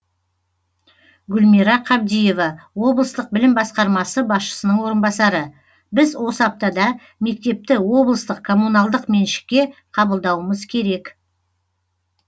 гүлмира қабдиева облыстық білім басқармасы басшысының орынбасары біз осы аптада мектепті облыстық коммуналдық меншікке қабылдауымыз керек